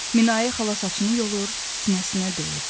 Minayə xala saçını yolur, sinəsinə döyürdü.